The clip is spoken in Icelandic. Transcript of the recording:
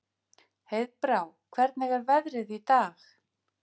Heiðbrá, hvernig er veðrið í dag?